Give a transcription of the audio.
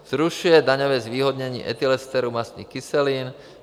zrušuje daňové zvýhodnění etylesterů mastných kyselin;